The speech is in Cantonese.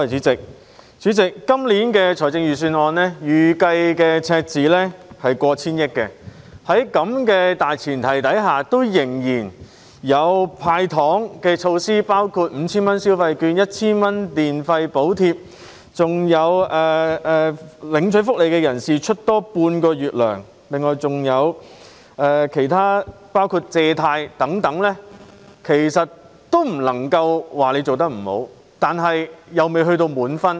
主席，今年的財政預算案預計赤字超過 1,000 億元，在這大前提下仍然有"派糖"措施，包括 5,000 元消費券 ，1,000 元電費補貼及向領取福利人士額外發放半個月津貼，亦有提供貸款計劃等其他措施，我不能說司長做得不好，但卻未能取得滿分。